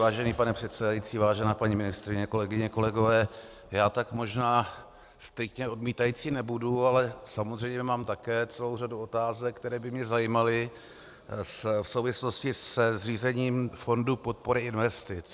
Vážený pane předsedající, vážená paní ministryně, kolegyně, kolegové, já tak možná striktně odmítající nebudu, ale samozřejmě mám také celou řadu otázek, které by mě zajímaly v souvislosti se zřízením fondu podpory investic.